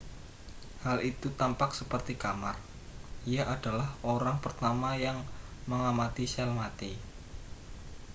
hal itu tampak seperti kamar ia adalah orang pertama yang mengamati sel mati